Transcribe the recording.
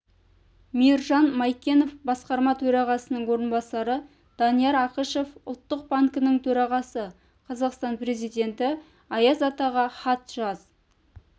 мейіржан майкенов басқарма төрағасының орынбасары данияр ақышев ұлттық банкінің төрағасы қазақстан президенті аяз атаға хат жаз